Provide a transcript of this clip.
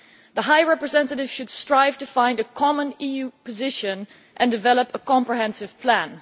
The High Representative should strive to find a common EU position and develop a comprehensive plan.